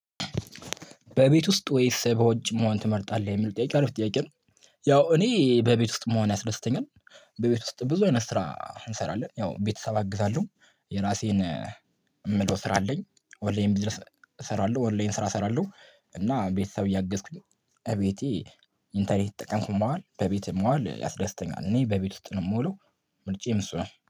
በቤት ውስጥ ወይስ በውጭ መሆን ትመርጣለህ የሚል ጥያቄ አሪፍ ጥያቄ ነው? ያው እኔ በቤት ውስጥ መሆን ያስደስተኛል። በቤት ውስጥ ብዙ አይነት ስራ እንሰራለን ያው ቤተሰብ አግዛለሁ። የራሴን የምለው ስራ አለኝ። ኦንላይን ቢዝነስ እሰራለሁ ኦንላይን ስራ እሰራለሁ እና ቤተሰብ እያገዝኩኝ። እቤቴ ኢንተርኔት እየተጠቀምኩ መዋል በቤት መዋል ያስደስተኛል እኔ በቤት ውስጥ ነው የምውለው። ምርጫየም እሱ ነው